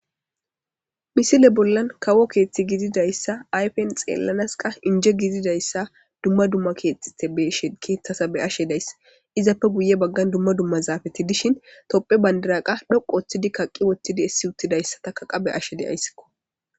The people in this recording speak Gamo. misile bollan kawo keeththi gididayssa ayfen xeellanas qa inje gididayssa dumma dumma keexxite besh keeththasa be'ashe dayssa izappe guye baggan dumma dumma zaafati dishin topphe bandira qa dhoqo oththidi kaqqi wottidi essi uttidayssataka qa be'ashe dayssikko